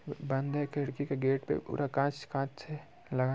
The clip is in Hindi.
बंद है। खिडकी के गेट पे पूरा काँच कांच है लगाया --